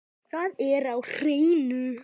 Það er á hreinu.